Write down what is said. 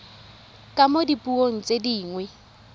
ka mo dipuong tse dingwe